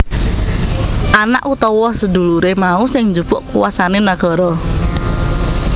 Anak utawa seduluré mau sing njupuk kuasane nagara